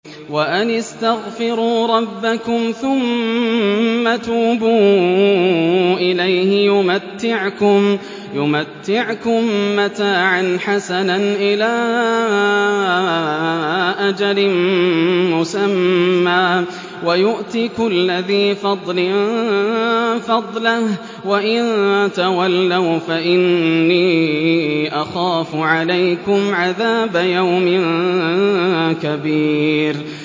وَأَنِ اسْتَغْفِرُوا رَبَّكُمْ ثُمَّ تُوبُوا إِلَيْهِ يُمَتِّعْكُم مَّتَاعًا حَسَنًا إِلَىٰ أَجَلٍ مُّسَمًّى وَيُؤْتِ كُلَّ ذِي فَضْلٍ فَضْلَهُ ۖ وَإِن تَوَلَّوْا فَإِنِّي أَخَافُ عَلَيْكُمْ عَذَابَ يَوْمٍ كَبِيرٍ